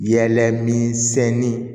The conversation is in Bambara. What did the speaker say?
Yɛlɛ min sɛnɛni